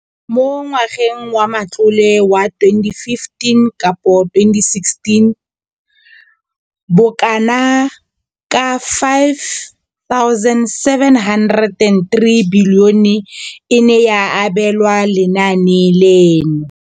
Mo ngwageng wa matlole wa 2015 to 2016, bokanaka R5 703 bilione e ne ya abelwa lenaane leno.